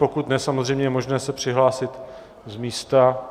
Pokud ne, samozřejmě je možné se přihlásit z místa.